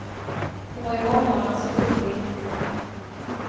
Det var ju honom man såg upp till.